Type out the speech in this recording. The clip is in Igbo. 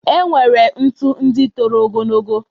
E nwere ntu ndị toro ogonogo.